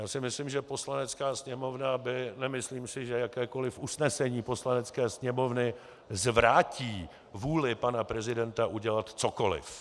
Já si myslím, že Poslanecká sněmovna by - nemyslím si, že jakékoliv usnesení Poslanecké sněmovny zvrátí vůli pana prezidenta udělat cokoliv.